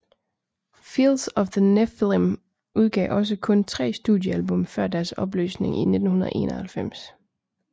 Fields of the Nephilim udgav også kun tre studiealbum før deres opløsning i 1991